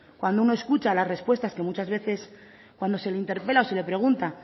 cuando uno escucha las respuestas que muchas veces cuando se le interpela o se le pregunta